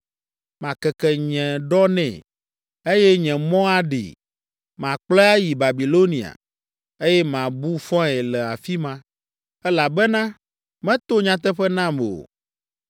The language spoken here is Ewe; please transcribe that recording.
Makeke nye ɖɔ nɛ, eye nye mɔ aɖee. Makplɔe ayi Babilonia, eye mabu fɔe le afi ma, elabena meto nyateƒe nam o.